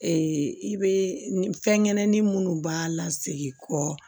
i bɛ fɛnkɛnɛ ni minnu b'a la segin kɔ